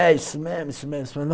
É, isso mesmo, isso mesmo, isso mesmo...